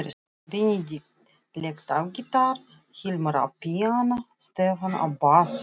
Benedikt lék á gítar, Hilmar á píanó, Stefán á bassa.